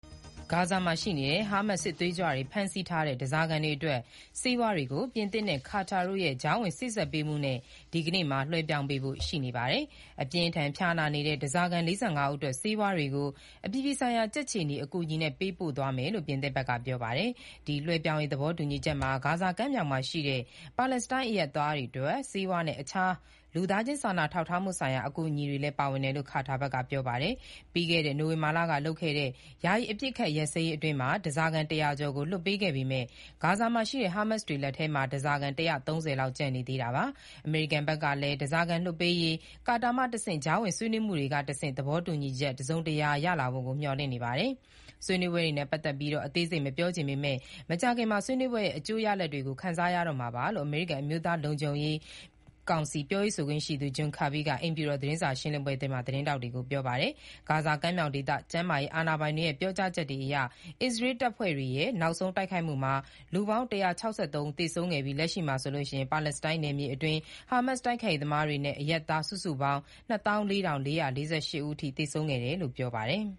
ဂါဇာမှာရှိနေတဲ့ ဟားမတ်စ် စစ်သွေးကြွတွေ ဖမ်းဆီးထားတဲ့ ဓားစာခံတွေအတွက် ဆေးဝါးတွေကို ပြင်သစ်နဲ့ ကာတာတို့ရဲ့ ကြားဝင်စေ့စပ်ပေးမှုနဲ့ ဒီနေ့မှာ လွှဲပြောင်းပေးဖို့ရှိနေပါတယ်။ အပြင်းအထန် ဖျားနာနေတဲ့ ဓားစာခံ ၄၅ ဦးအတွက် ဆေးဝါးတွေကို အပြည်ပြည်ဆိုင်ရာ ကြက်ခြေနီအကူအညီနဲ့ ပေးပို့သွားမယ်လို့ ပြင်သစ်ဘက်က ပြောပါတယ်။ ဒီလွှဲပြောင်းရေး သဘောတူညီချက်မှာ ဂါဇာကမ်းမြှောင်ရှိ ပါလက်စတိုင်းအရပ်သားတွေအတွက် ဆေးဝါးနဲ့ အခြားသော လူသားချင်းစာနာထောက်ထားမှုဆိုင်ရာ အကူအညီတွေလည်း ပါဝင်တယ်လို့ ကာတာဘက်က ပြောပါတယ်။ ပြီးခဲ့တဲ့ နိုဝင်ဘာလကလုပ်ခဲ့တဲ့ ယာယီအပစ်အခတ်ရပ်စဲရေးအတွင်း ဓားစာခံ ၁၀၀ ကျော်ကို လွှတ်ပေးခဲ့ပေမဲ့ ဂါဇာရှိ ဟားမတ်စ်တွေလက်ထဲမှာ ဓားစာခံ ၁၃၀ လောက် ကျန်နေသေးတာပါ။ အမေရိကန်ဘက်ကလည်း ဓားစာခံလွှတ်ပေးရေး ကာတာမှတဆင့် ကြားဝင်ဆွေးနွေးမှုတွေကတဆင့် သဘောတူညီချက်အသစ် တစုံတရာ ရလာဖို့ကို မျှော်လင့်နေပါတယ်။ ဆွေးနွေးပွဲနဲ့ပတ်သက်ပြီး အသေးစိတ်မပြောချင်ပေမဲ့ မကြာခင်မှာပဲ ဆွေးနွေးပွဲရဲ့ အကျိုးရလဒ်တွေကို ခံစားရမှာပါလို့ အမေရိကန် အမျိုးသား လုံခြုံရေးကောင်စီ ပြောရေးဆိုခွင့်ရှိသူ John Kirby က အိမ်ဖြူတော် သတင်းစာ ရှင်းလင်းပွဲတွင် သတင်းထောက်တွေကို ပြောပါတယ်။ ဂါဇာကမ်းမြောင်ဒေသ ကျန်းမာရေးအာဏာပိုင်တွေ ပြောကြားချက်အရ အစ္စရေးတပ်ဖွဲ့တွေရဲ့ နောက်ဆုံးတိုက်ခိုက်မှုမှာ လူ ၁၆၃ ဦး သေဆုံးခဲ့ပြီး၊ လက်ရှိမှာဆိုရင် ပါလက်စတိုင်းနယ်မြေအတွင်း ဟာမတ်စ်တိုက်ခိုက်ရေးသမားတွေနဲ့ အရပ်သားစုစုပေါင်း ၂၄,၄၄၈ ဦးအထိ သေဆုံးခဲ့တယ်လို့ ပြောပါတယ်။